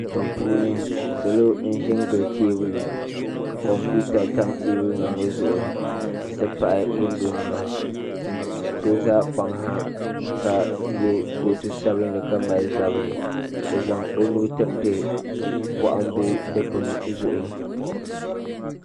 Duu puuni salo n ʒi n gili teebuli kompiuta tam teebuli ŋo zuɣu n ti pahi kundu nima so ʒɛ kpaŋ ha ka yɛ kootu sabinli ka mali zabiri o zaŋ o nuu tiriti bohambu dikpni zuɣu